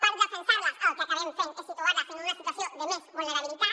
per defensar les el que acabem fent és situar les en una situació de més vulnerabilitat